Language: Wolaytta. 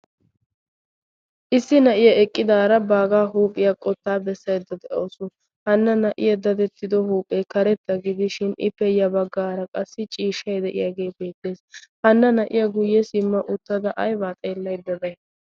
issi na'iya eqqidaara baagaa huuphiyaa qottaa bessayeddo de'awusu hanna naa'iya datettido huuphee karetta gidishin i peyya baggaara qassi ciishshai de'iyaagee beettees hanna naa'iya guyye simma uttada ay baa xeellaybay?